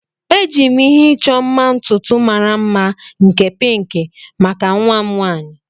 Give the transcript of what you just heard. Eji m ihe ịchọ mma ntutu mara mma nke pinki maka nwa m nwaanyị.